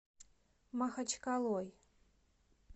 махачкалой